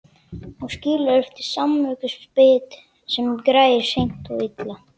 Og skilur eftir samviskubit sem grær seint og illa.